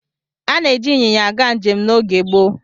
Ana-eji ịnyịnya aga njem n'oge gboo.